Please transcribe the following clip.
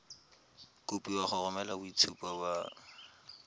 kopiwa go romela boitshupo ba